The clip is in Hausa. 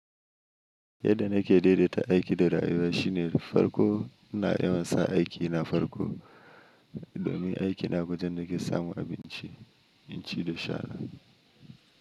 Yadda nake daidaita aiki da rayuwa shine farko na yi masa aiki na farko domin aiki na kusan nake samu abinci, in ci da shara.